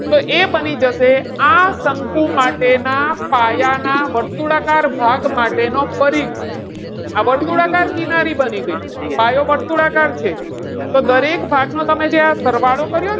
તો એ બની જશે આ શકું માટેના પાયાના વર્તુળાકાર ભાગ માટેનો પરિઘ. આ વર્તુળાકાર કિનારી બની ગઈ પાયો વર્તુળાકાર છે. તો દરેક ભાગનો તમે જે આ સરવાળો કર્યો ને.